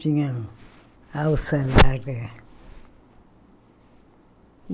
Tinha alça larga